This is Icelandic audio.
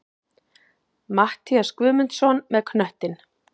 Matthías Guðmundsson með knöttinn.